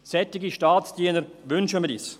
Solche Staatsdiener wünschen wir uns.